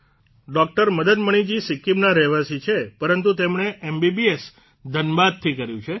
doctor Madan Maniji સિક્કિમના રહેવાસી છે પરંતુ તેમણે એમબીબીએસ ધનબાદથી કર્યું છે